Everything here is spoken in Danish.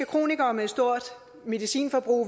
kronikere med et stort medicinforbrug